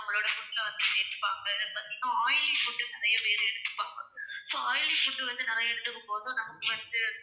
அவங்களோட food ல வந்து, இப்போ வந்து oily food வந்து நிறைய பேர் எடுத்துப்பாங்க. இப்ப oily food நிறைய எடுத்துக்கும்போது நமக்கு வந்து,